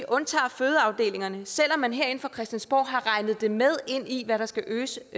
undtager fødeafdelingerne selv om vi herinde fra christiansborg har regnet det med ind i hvad der skal øges